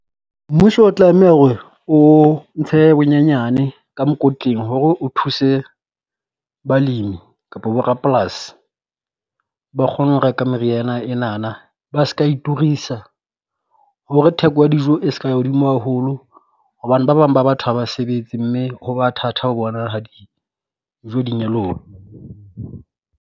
Mmuso o tlameha hore o ntshe bonyenyane ka mokotleng hore o thuse balemi kapo bo rapolasi ba kgone ho reka meriana enana, ba ska e turisa. Hore theko ya dijo e se ka ya hodimo haholo hobane ba bang ba batho ha ba sebetse mme ho ba thatha ho bona ha dijo di nyoloha.